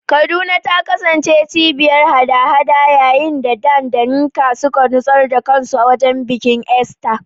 Kaduna ta kasance cibiyar haɗa-haɗa yayin da Dan da Nneka suka nutsar da kansu wajen bikin Easter.